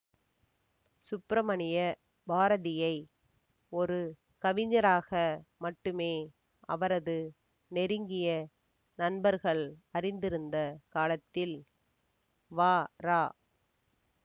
சுப்பிரமணிய பாரதியை ஒரு கவிஞராக மட்டுமே அவரது நெருங்கிய நண்பர்கள் அறிந்திருந்த காலத்தில் வரா